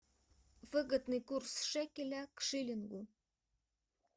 выгодный курс шекеля к шиллингу